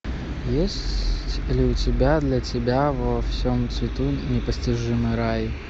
есть ли у тебя для тебя во всем цвету непостижимый рай